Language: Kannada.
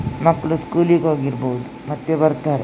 ಮಕ್ಕಳು ಸ್ಕೂಲಿಗೆ ಹೋಗಿರಬಹುದು ಮತ್ತೆ ಬರ್ತಾರೆ --